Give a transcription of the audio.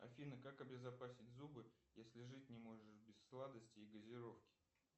афина как обезопасить зубы если жить не можешь без сладостей и газировки